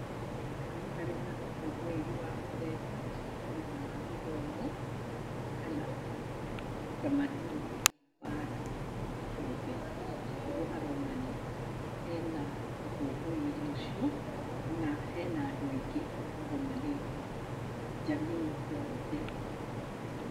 Haha nĩharĩ na ũkũngũĩri wa mũthemba, either wa gĩthomo, kana ũtamanduni wa andũ kĩũmbe, nĩguo haronania. Hena ũkũngũĩri ũcio na hena andũ aingĩ magomanĩte, njamii yothe.